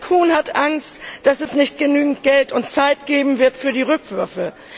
Herr Kuhn hat Angst, dass es nicht genügend Geld und Zeit geben wird für die Rückwürfe.